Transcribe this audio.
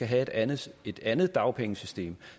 have et andet et andet dagpengesystem